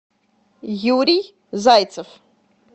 юрий зайцев